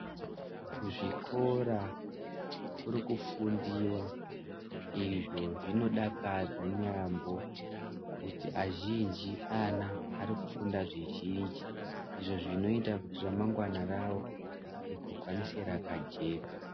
Kuzvikora kuri kufundiwa. Izvo zvinodakadza yaamho kuti azhinji ana ari kufunda zvizhinji izvo zvinoita kuti ramangwana ravo rigokwanise rakajeka.